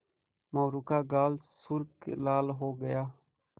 मोरू का गाल सुर्ख लाल हो गया